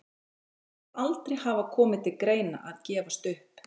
Hann segir aldrei hafa komið til greina að gefast upp.